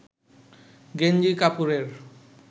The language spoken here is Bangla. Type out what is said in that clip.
গেঞ্জি কাপড়ের